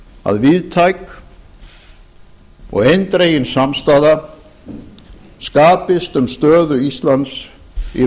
að víðtæk og eindregin samstaða skapist um stöðu íslands í